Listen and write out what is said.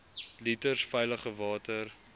liters veilige water